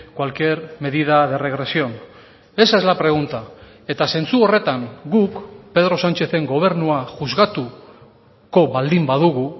cualquier medida de regresión esa es la pregunta eta zentzu horretan guk pedro sánchezen gobernua juzgatuko baldin badugu